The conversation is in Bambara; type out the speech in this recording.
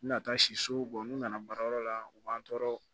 N mi na taa si so n'u nana baarayɔrɔ la u b'an tɔɔrɔ